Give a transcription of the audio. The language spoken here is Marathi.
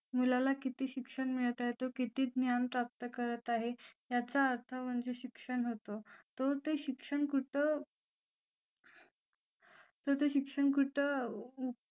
मुलाला किती शिक्षण मिळत आहे तो किती ज्ञान प्राप्त करत आहे याचा अर्थ म्हणजे शिक्षण होतं तो ते शिक्षण कुठे तोते शिक्षण कुठे